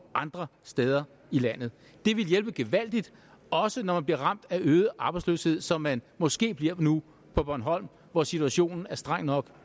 andre steder i landet det ville hjælpe gevaldigt også når man bliver ramt af øget arbejdsløshed som man måske bliver det nu på bornholm hvor situationen er streng nok